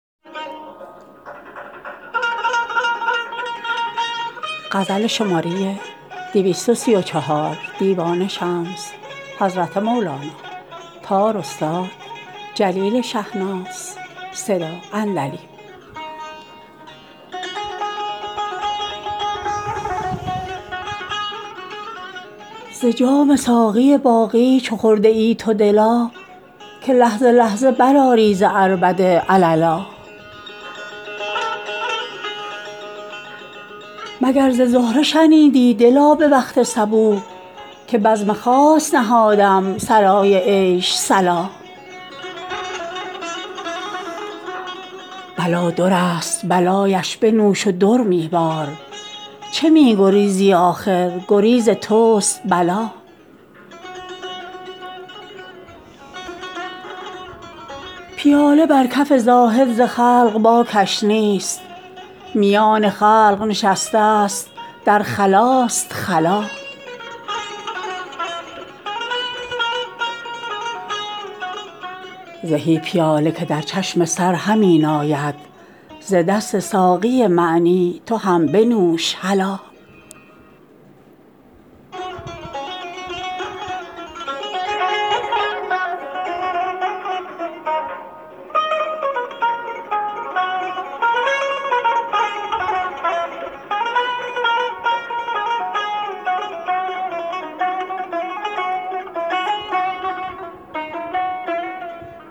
ز جام ساقی باقی چه خورده ای تو دلا که لحظه لحظه برآری ز عربده عللا مگر ز زهره شنیدی دلا به وقت صبوح که بزم خاص نهادم صلای عیش صلا بلا درست بلایش بنوش و در می بار چه می گریزی آخر گریز توست بلا پیاله بر کف زاهد ز خلق باکش نیست میان خلق نشستست در خلاست خلا زهی پیاله که در چشم سر همی ناید ز دست ساقی معنی تو هم بنوش هلا